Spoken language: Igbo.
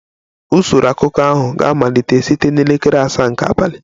Usoro akụkọ ahụ ga-amalite site na elekere asaa nke abalị